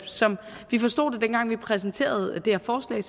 som vi forstod det dengang vi præsenterede det her forslag